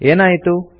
ಏನಾಯಿತು